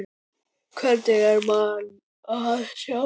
Hvergi er mann að sjá.